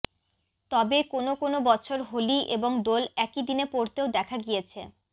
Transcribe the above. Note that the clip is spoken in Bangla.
তবে কোনও কোনও বছর হোলি এবং দোল একই দিনে পড়তেও দেখা গিয়েছে